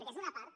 que és una part